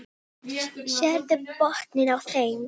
Hún lítur fast á mig.